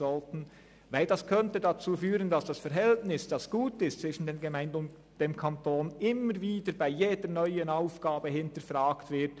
Denn dies könnte dazu führen, dass das Verhältnis zwischen Gemeinden und Kanton, das jetzt gut ist, bei jeder neuen Aufgabe hinterfragt wird.